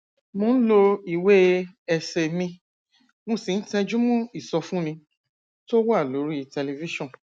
mo ń lo ìwè ẹsè mi mo sì ń tẹjú mó ìsọfúnni tó wà lórí tẹlifíṣòn